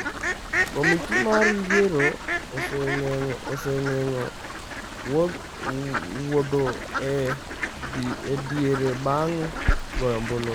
Komiti mar yiero osegeng’o wuotho ​​e diere bang’ goyo ombulu.